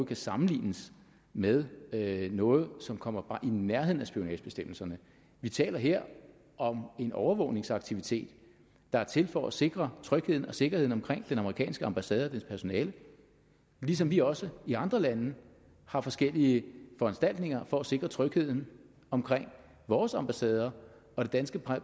kan sammenlignes med noget som kommer bare i nærheden af spionagebestemmelserne vi taler her om en overvågningsaktivitet der er til for at sikre trygheden og sikkerheden omkring den amerikanske ambassade og dens personale ligesom vi også i andre lande har forskellige foranstaltninger for at sikre trygheden omkring vores ambassader og det danske